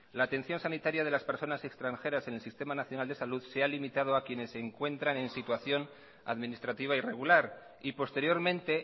la atención sanitaria de las personas extranjeras en el sistema nacional de salud se ha limitado a quienes se encuentran en situación administrativa irregular y posteriormente